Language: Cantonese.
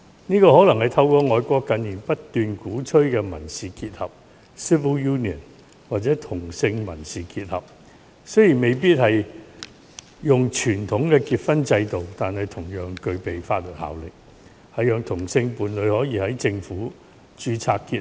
這可能是透過外國近年不斷鼓吹的"民事結合"或"同性民事結合"達成。雖然未必是傳統的婚姻制度，但同樣具備法律效力，讓同性伴侶可以在政府制度下註冊結合。